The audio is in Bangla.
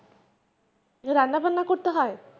রান্নাবান্না করতে হয়.